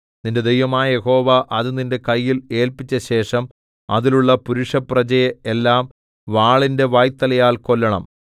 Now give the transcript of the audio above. നിന്റെ ദൈവമായ യഹോവ അത് നിന്റെ കയ്യിൽ ഏല്പിച്ചശേഷം അതിലുള്ള പുരുഷപ്രജയെ എല്ലാം വാളിന്റെ വായ്ത്തലയാൽ കൊല്ലണം